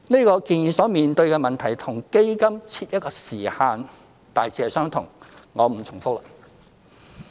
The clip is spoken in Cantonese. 這建議所面對的問題與基金設一時限大致相同，我不重複了。